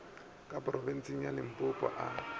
ka phorobentsheng ya limpopo a